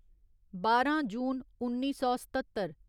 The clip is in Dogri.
बारां जून उन्नी सौ सत्ततर